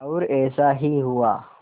और ऐसा ही हुआ